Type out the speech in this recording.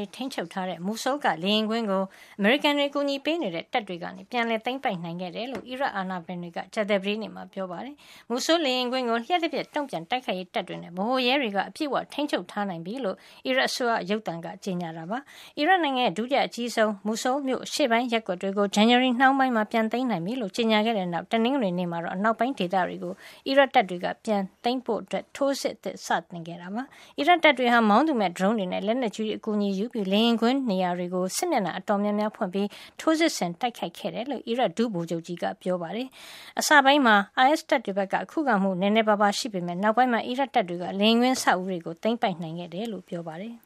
ွေ ထိန်းချုပ်ထားတဲ့ Mosul က လေယာဉ်ကွင်းကို အမေရိကန်တွေ အကူအညီပေးနေတဲ့ တပ်တွေက ပြန်သိမ်းပိုက်နိုင်ခဲ့တယ်လို့ အီရတ်အာဏာပိုင်တွေက ကြာသပတေးနေ့မှာ ပြောပါတယ်။ Mosul လေယာဉ်ကွင်းကို လျှပ်တပျက် တုံ့ပြန်တိုက်ခိုက်ရေးတပ်တွေနဲ့ ဗဟိုရဲတွေက အပြည့်အဝ ထိမ်းချုပ်ထားနိုင်ပြီးလို့ အီရတ်အစိုးရ ရုပ်သံကကြေညာပါတယ်။ အီရတ်နိုင်ငံရဲ့ ဒုတိယအကြီးဆုံး မြို့ကြီးဖြစ်တဲ့ Mosul အရှေ့ပိုင်းရပ်ကွက်တွေကို ဇန်နဝါရီလနှောင်းပိုင်းမှာ ပြန်သိမ်းနိုင်ပြီလို့ ကြေညာခဲ့ပြီးတဲ့နောက်မှာ တနင်္ဂနွေနေ့မှာတော့ အနောက်ပိုင်းက ဒေသတွေကို အီရတ်တပ်တွေက ပြန်လည်သိမ်းပိုက်ဖို့ ထိုးစစ်အသစ် စတင်ခဲ့တာဖြစ်ပါတယ်။ အီရတ်တပ်တွေဟာ မောင်းသူမဲ့ drones တွေနဲ့ လက်နက်ကြီးတွေရဲ့ အကူအညီတွေကိုယူပြီး လေယာဉ်ကွင်းနေရာကို စစ်မျက်နှာ အတော်များ များဖွင့်ပြီး ထိုးစစ်ဆင် တိုက်ခိုက်ခဲ့တယ်လို့ အီရတ် ဒုဗိုလ်ချုပ်ကြီး Raid Shakir Jaudat ကပြောပါတယ်။ အစပိုင်းမှာ အိုင်အက်စ် တပ်တွေဘက်က ခုခံမှု နဲနဲပါးပါး ရှိပေမယ့် နောက်ပိုင်းမှာတေ့ာ အီရတ်တပ်တွေက လေယာဉ်ကွင်း အဆောက်အဦးတွေကို သိမ်းပိုက်နိုင်ခဲ့တယ်လို့လည်း ပြောပါတယ်။